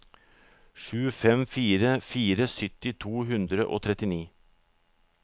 sju fem fire fire sytti to hundre og trettini